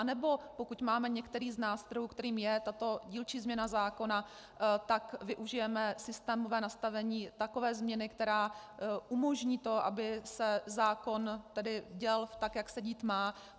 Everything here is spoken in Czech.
Anebo pokud máme některý z nástrojů, kterým je tato dílčí změna zákona, tak využijeme systémové nastavení takové změny, která umožní to, aby se zákon tedy děl tak, jak se dít má?